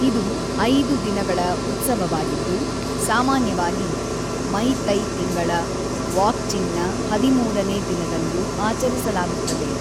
ಇದು ಐದು ದಿನಗಳ ಉತ್ಸವವಾಗಿದ್ದು, ಸಾಮಾನ್ಯವಾಗಿ ಮೈತೈತಿಂಗಳ ವಾಕ್ಚಿಂಗ್‌ನ ಹದಿಮೂರನೇ ದಿನದಂದು ಆಚರಿಸಲಾಗುತ್ತದೆ.